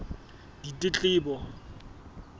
ditletlebo